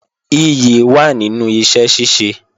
Ìyì wà nínú iṣẹ́ ṣíṣe